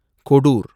Kodur